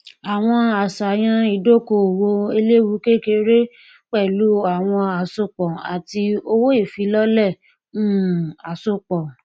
àwọn àṣàyàn ìdókòòwò eléwukékeré pẹlú àwọn àsopọ àti owóìfilọlẹ um àsopọ